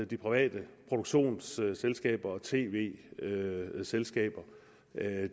de private produktionsselskaber og tv selskaber